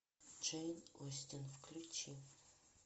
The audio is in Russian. джейн остин включи